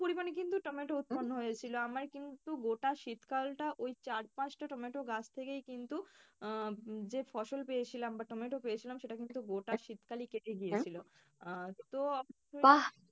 পরিমাণে কিন্তু টমেটো উৎপন্ন হয়েছিল আমার কিন্তু গোটা শীতকালটা ওই চার পাঁচটা টমেটো গাছ থেকেই কিন্তু আহ যে ফসল পেয়েছিলাম বা টমেটো পেয়ে ছিলাম সেটা কিন্তু গোটা শীতকালই কেটে আর তো